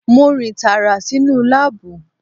Mo rìn tààrà sínú láàbù